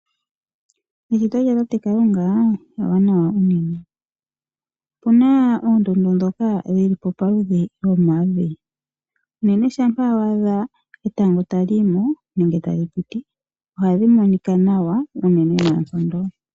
Eshito lyatate Kalunga ewanawa unene. Opena oondundu dhoka dhili po pamaludhi dhomavi, unene shampa wa adha etango tali yi mo nenge tali piti ohadhi monika nawa unene noonkondo.